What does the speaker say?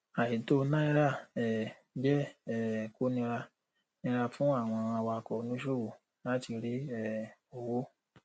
àìtó náírà um jẹ um kó nira nira fún àwọn awakọ oníṣòwò láti rí um owó